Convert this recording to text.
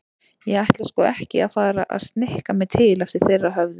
Ég ætla sko ekki að fara að snikka mig til eftir þeirra höfði.